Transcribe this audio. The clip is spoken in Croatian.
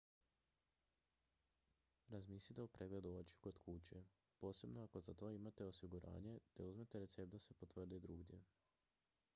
razmislite o pregledu očiju kod kuće posebno ako za to imate osiguranje te uzmete recept da se potvrdi drugdje